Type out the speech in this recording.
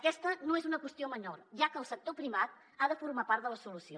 aquesta no és una qüestió menor ja que el sector privat ha de formar part de la solució